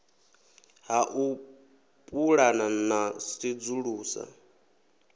ha u pulana na sedzulusa